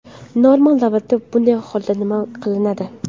Normal davlatda bunday holda nima qilinadi?